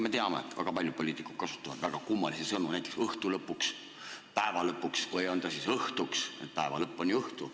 Me teame, et väga paljud poliitikud kasutavad väga kummalisi sõnu, näiteks "õhtu lõpuks", "päeva lõpuks" või on ta siis õhtuks – päeva lõpp on ju õhtu.